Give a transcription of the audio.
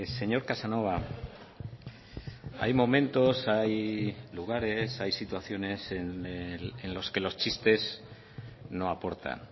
señor casanova hay momentos hay lugares hay situaciones en los que los chistes no aportan